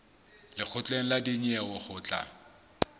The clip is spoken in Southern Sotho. lekgotleng la dinyewe ho tla